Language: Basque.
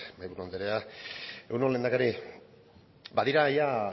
mahaiburu andrea egun on lehendakari badira